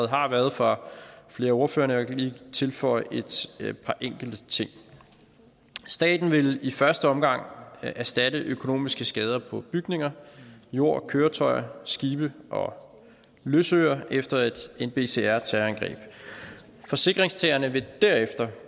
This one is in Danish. har været fra flere af ordførerne og jeg kan lige tilføje et par enkelte ting staten vil i første omgang erstatte økonomiske skader på bygninger jord køretøjer skibe og løsøre efter et nbcr terrorangreb forsikringstagerne vil derefter